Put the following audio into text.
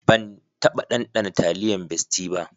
Ban taba ɗanɗana taliyan bestie ba.